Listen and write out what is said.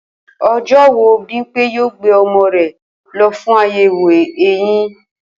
O̩jó̩ wo Bímpé yóò gbé o̩mo̩ rè̩ lo̩ fún àyè̩wò eyin?